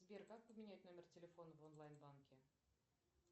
сбер как поменять номер телефона в онлайн банке